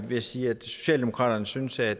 vil sige at socialdemokratiet synes at